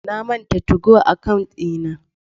Na manta 2go account dina.